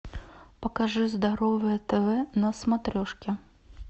покажи здоровое тв на смотрешке